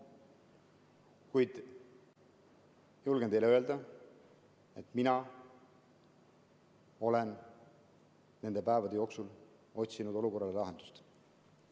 Kuid julgen teile öelda, et mina olen nende päevade jooksul otsinud olukorrale lahendust.